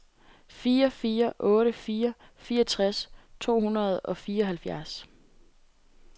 fire fire otte fire fireogtres to hundrede og fireoghalvfjerds